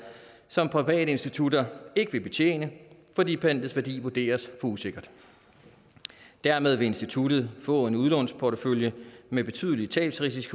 som private institutter ikke vil betjene fordi pantets værdi vurderes at usikkert dermed vil instituttet få en udlånsportefølje med betydelige tabsrisici